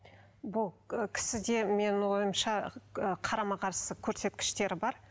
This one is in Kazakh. бұл кісіде ы менің ойымша ы қарама қарсы көрсеткіштері бар